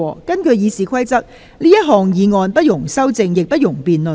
根據《議事規則》，這項議案不容修正，亦不容辯論。